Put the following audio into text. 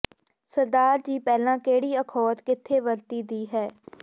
ਸਰਦਾਰ ਜੀ ਪਹਿਲਾ ਿਕਹੜੀ ਅਖੌਤ ਿਕਥੇ ਵਰਤੀ ਦੀ ਹੈ